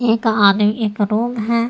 एक आदमी एक रूम है।